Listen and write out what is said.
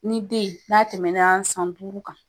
Ni den yen n'a tɛmɛna san duuru kan